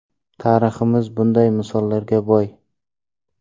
Tariximiz bunday misollarga boy.